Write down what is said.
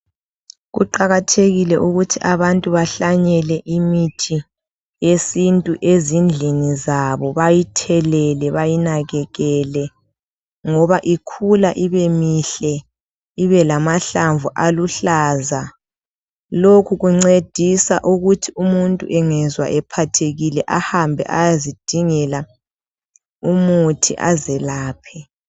Kuqakathekile ukuthi abantu bahlanyele imithi yesintu ezindlini zabo .Bayithelele bayinakekele ngoba ikhula ibemihle ibelamahlamvu aluhlaza .Lokhu Kuncedisa ukuthi umuntu engezwa ephathekile ahambe ayezidingela umuthi azelaphe .